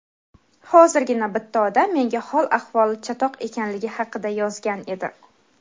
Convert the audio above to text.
Hozirgina bitta odam menga hol-ahvoli chatoq ekanligi haqida yozgan edi.